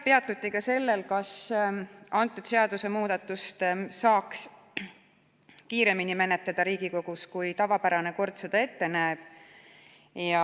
Peatuti ka sellel, kas seadusemuudatust saaks menetleda Riigikogus kiiremini, kui tavapärane kord seda ette näeb.